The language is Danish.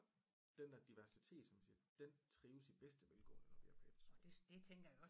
Og den der diversitet som vi siger den trives i bedste velgående når vi er på efterskoler